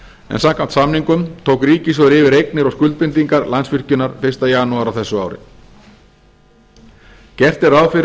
en samkvæmt samningum tók ríkissjóður yfir eignir og skuldbindingar landsvirkjunar fyrsta janúar á þessu ári gert er ráð fyrir